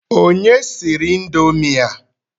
Onye siri indomi a?